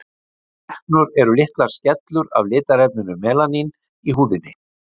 freknur eru litlar skellur af litarefninu melaníni í húðinni